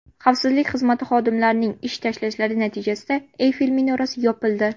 Xavfsizlik xizmati xodimlarining ish tashlashlari natijasida Eyfel minorasi yopildi.